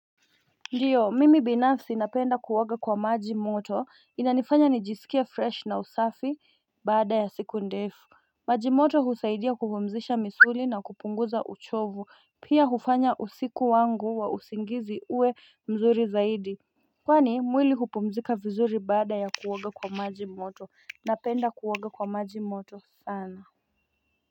Ndiyo, mimi binafsi napenda kuoga kwa maji moto. Inanifanya nijisikie fresh na usafi baada ya siku ndefu. Maji moto husaidia kupumzisha misuli na kupunguza uchovu pia hufanya usiku wangu wa usingizi uwe mzuri zaidi Kwani mwili hupumzika vizuri baada ya kuoga kwa maji moto. Napenda kuoga kwa maji moto sana.